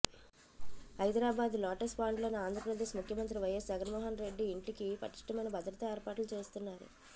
Hyderabad lotus పాండ్లోని Andhra Pradesh ముఖ్యమంత్రి YS Jaganmohan Reddy ఇంటికి పటిష్టమైన భద్రతా ఏర్పాట్లు చేస్తున్నారు